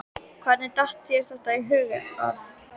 Hvernig datt þér í hug að?